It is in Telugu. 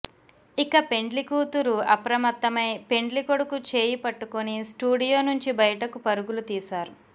ఇక పెండ్లి కూతరు అప్రమత్తమై పెండ్లి కొడుకు చేయి పట్టుకుని స్టూడియో నుంచి బయటకు పరుగులు తీశారు